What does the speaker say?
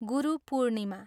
Guru Purnima.